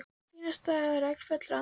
Fínasta regn fellur á andlitið hennar.